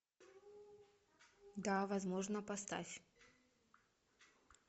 да возможно поставь